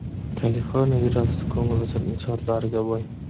Kaliforniya yerosti ko‘ngilochar inshootlariga boy.